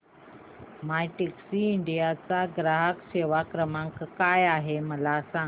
My Taxi India चा ग्राहक सेवा क्रमांक काय आहे मला सांग